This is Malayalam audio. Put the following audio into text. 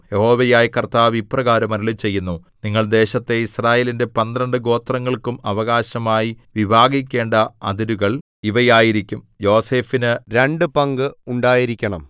യഹോവയായ കർത്താവ് ഇപ്രകാരം അരുളിച്ചെയ്യുന്നു നിങ്ങൾ ദേശത്തെ യിസ്രായേലിന്റെ പന്ത്രണ്ട് ഗോത്രങ്ങൾക്കും അവകാശമായി വിഭാഗിക്കേണ്ട അതിരുകൾ ഇവയായിരിക്കും യോസേഫിന് രണ്ടു പങ്ക് ഉണ്ടായിരിക്കണം